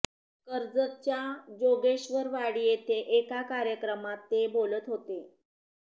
कर्जतच्या जोगेश्वरवाडी येथे एका कार्यक्रमात ते बोलत होते